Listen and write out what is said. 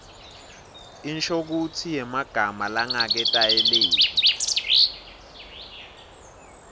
inshokutsi yemagama langaketayeleki